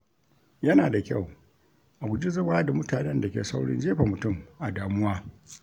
Yana da kyau a guji zama da mutanen da ke saurin jefa mutum a damuwa.